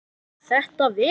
Gat þetta verið?